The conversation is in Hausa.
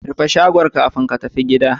Rufe shagon kafin ka tafi gida